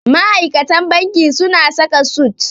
Ma'aikatan banki suna saka sut.